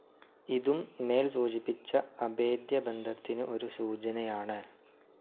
ഇതും മേൽ സൂചിപ്പിച്ച അഭേദ്യബന്ധത്തിനു ഒരു സൂചനയാണ്.